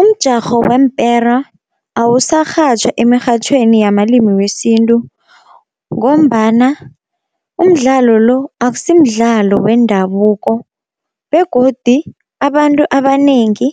Umjarho weempera awusarhatjhwa emirhatjhweni yamalimi wesintu, ngombana umdlalo lo akusimdlalo wendabuko begodi abantu abanengi